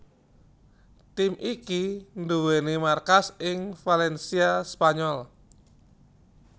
Tim iki nduwèni markas ing Valencia Spanyol